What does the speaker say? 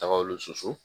Tagaw susu